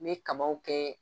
Me kabaw kɛ,